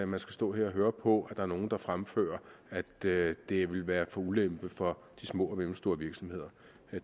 man skal stå her og høre på på nogen der fremfører at det det vil være til ulempe for de små og mellemstore virksomheder